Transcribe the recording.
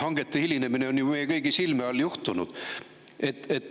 Hangete hilinemine on ju meie kõigi silme all juhtunud.